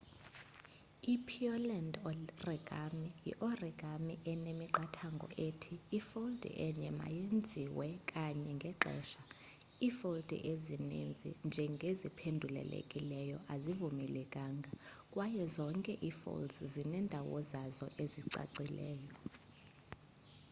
i pureland origami yi origami enemiqathango ethi ifoldi enye mayenziwe kanye ngexesha ifoldi ezinintsi njengeziphendulelekileyo azivumelekanga kwaye zonke ifolds zinendawo zazo ezicacileyo